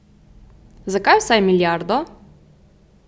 Zakaj vsaj milijardo?